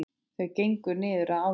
Þau gengu niður að ánni.